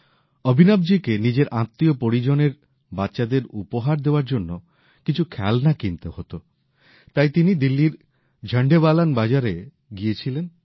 অভিনবজিকে নিজের আত্মীয় পরিজনের বাচ্চাদের উপহার দেওয়ার জন্য কিছু খেলনা কিনতে হত তাই তিনি দিল্লীর ঝন্ডেবালান বাজারে গিয়েছিলেন